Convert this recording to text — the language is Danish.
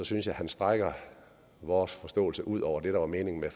synes jeg han strækker vores forståelse ud over det der var meningen med